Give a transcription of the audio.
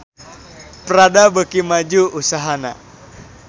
Prada beuki maju usahana